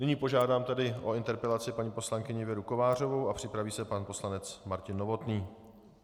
Nyní požádám tedy o interpelaci paní poslankyni Věru Kovářovou a připraví se pan poslanec Martin Novotný.